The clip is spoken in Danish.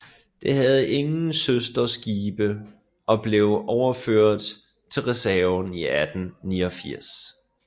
Det havde ingen søsterskibe og blev overført til reserven i 1889